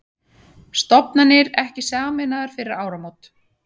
Stofnanir ekki sameinaðar fyrir áramót